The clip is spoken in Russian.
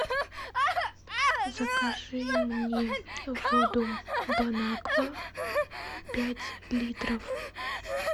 закажи мне воду бонаква пять литров